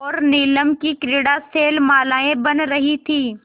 और नीलम की क्रीड़ा शैलमालाएँ बन रही थीं